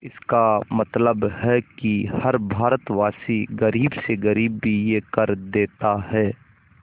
इसका मतलब है कि हर भारतवासी गरीब से गरीब भी यह कर देता है